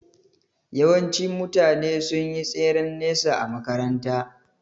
Yawanci mutane sun yi tseren nesa a makaranta